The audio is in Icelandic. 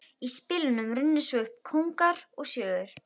Í spilunum runnu svo upp kóngar og sjöur.